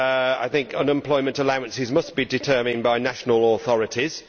I think unemployment allowances must be determined by national authorities.